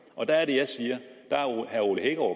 og der er det at jeg siger